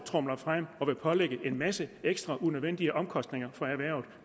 frem og vil pålægge en masse ekstra unødvendige omkostninger for erhvervet